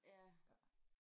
Ja